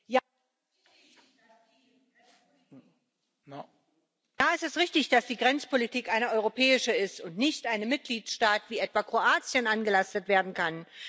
Ja, es ist richtig, dass die Grenzpolitik eine europäische ist und nicht einem Mitgliedstaat wie etwa Kroatien angelastet werden kann.